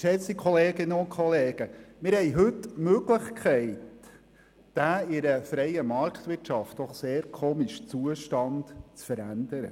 Geschätzte Kolleginnen und Kollegen, wir haben heute die Möglichkeit, den für eine freie Marktwirtschaft doch sehr komischen Zustand zu ändern.